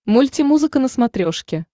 мультимузыка на смотрешке